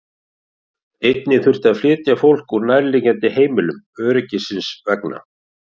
Einnig þurfti að flytja fólk úr nærliggjandi heimilum öryggisins vegna.